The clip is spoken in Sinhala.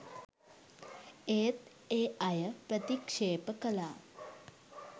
ඒත් ඒ අය ප්‍රතික්‍ෂේප කළා.